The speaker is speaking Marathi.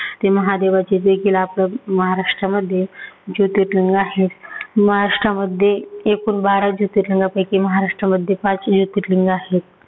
ते महादेवाचे देखील आपल्या महाराष्ट्रामध्ये जोतिर्लिंग आहे. महाराष्ट्रामध्ये एकूण बारा जोतिर्लिंगापैकी महाराष्ट्रामध्ये पाच जोतिर्लिंग आहेत.